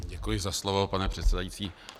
Děkuji za slovo, pane předsedající.